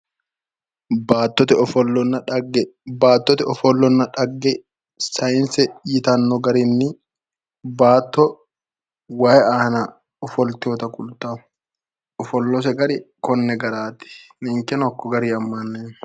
Baattote ofollanna dhagge, baattote ofollonna dhagge sayiinse yitanno garinni baatto waay aana ofolteewota kultaawo, ofollose gari konne garaati, ninkeno hakko garinni ammaneemmo.